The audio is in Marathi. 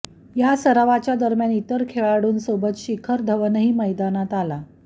या सरावाच्या दरम्यान इतर खेळाडूंसोबत शिखर धवनही मैदानात आला